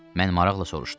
Mən maraqla soruşdum.